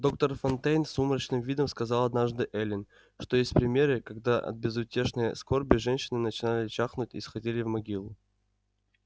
доктор фонтейн с сумрачным видом сказал однажды эллин что есть примеры когда от безутешной скорби женщины начинали чахнуть и сходили в могилу